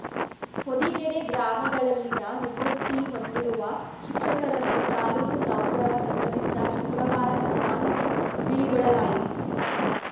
ಹೊದಿಗೆರೆ ಗ್ರಾಮಗಳಲ್ಲಿನ ನಿವೃತ್ತಿ ಹೊಂದಿರುವ ಶಿಕ್ಷಕರನ್ನು ತಾಲೂಕು ನೌಕರರ ಸಂಘದಿಂದ ಶುಕ್ರವಾರ ಸನ್ಮಾನಿಸಿ ಬೀಳ್ಗೊಡಲಾಯಿತು